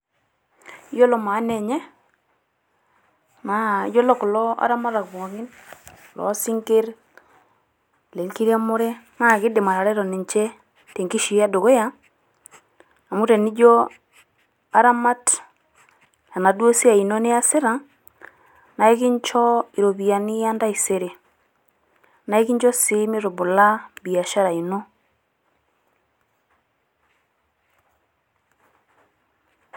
Yiolo maana enye naa yiolo kulo aramatak pookin loo sinkirr, ile nkiremore naa kidim atareto ninche te nkishui e dukuya. A mu tenijo aramat enaduo siai ino niyasita naa ekincho iropiyiani e ntaisere. Naa ekincho sii mitubula biashara ino.